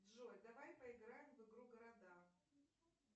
джой давай поиграем в игру города